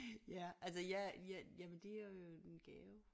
Ja altså jeg jeg jamen det er jo en gave